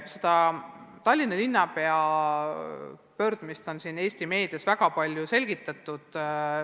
Seda Tallinna linnapea pöördumist on Eesti meedias väga palju selgitatud.